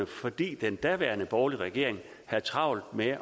fordi den daværende borgerlige regering havde travlt med